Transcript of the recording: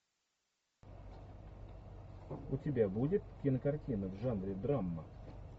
у тебя будет кинокартина в жанре драма